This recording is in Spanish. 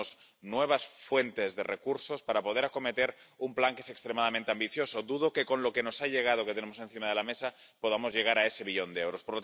Necesitamos nuevas fuentes de recursos para poder acometer un plan que es extremadamente ambicioso. Dudo que con lo que nos ha llegado, lo que tenemos encima de la mesa, podamos llegar a ese billón de euros.